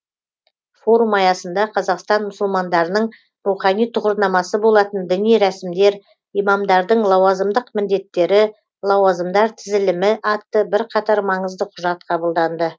форум аясында қазақстан мұсылмандарының рухани тұғырнамасы болатын діни рәсімдер имамдардың лауазымдық міндеттері лауазымдар тізілімі атты бірқатар маңызды құжат қабылданды